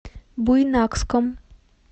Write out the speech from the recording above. буйнакском